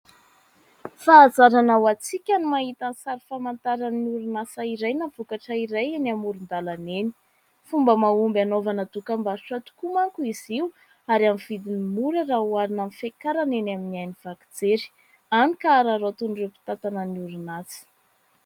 Fahazarana ho antsika ny mahita ny sary famantaran'orinasa iray na vokatra iray eny amoron-dalana eny. Fomba mahomby anaovana dokam-barotra tokoa manko izy io ary amin'ny vidiny mora raha oharina amin'ny fakarany eny amin'ny haino vaky jery, hany ka araraotin'ireo mpitantana ny orinasa.